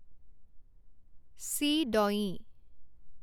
ছি দঞি